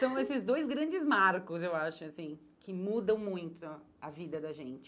São esses dois grandes marcos, eu acho, assim, que mudam muito a vida da gente.